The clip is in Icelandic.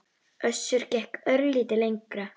Össur gekk örlítið lengra.